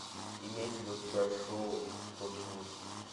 имеется ли у тебя шоу торчвуд